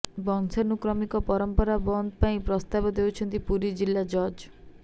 ବଂଶାନୁକ୍ରମିକ ପରମ୍ପରା ବନ୍ଦ ପାଇଁ ପ୍ରସ୍ତାବ ଦେଇଛନ୍ତି ପୁରୀ ଜିଲ୍ଲା ଜଜ୍